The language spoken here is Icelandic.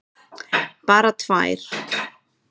Bara tvær.